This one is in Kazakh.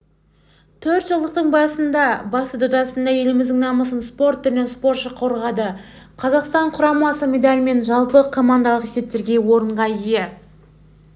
төртжылдықтың басты додасында еліміздің намысын спорт түрінен спортшы қорғады қазақстан құрамасы медальмен жалпыкомандалық есепте орынға ие